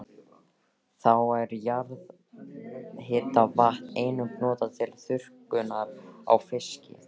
Þá er jarðhitavatn einnig notað til þurrkunar á fiski.